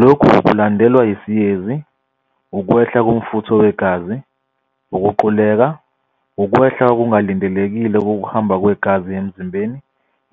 "Lokhu kulandelwa yisiyezi, ukwehla komfutho wegazi, ukuquleka, ukwehla okungalindelekile kokuhamba kwegazi emzimbeni